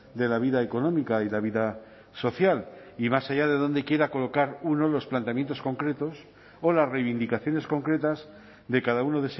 de la vida económica y la vida social y más allá de donde quiera colocar uno los planteamientos concretos o las reivindicaciones concretas de cada uno